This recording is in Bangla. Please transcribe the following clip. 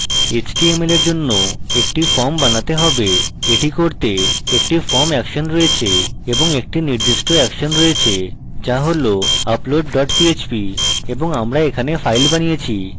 html for জন্য action form বানাতে have এটি করতে action form action রয়েছে এবং action নির্দিষ্ট action রয়েছে যা হল upload dot php এবং আমরা এখানে file বানিয়েছি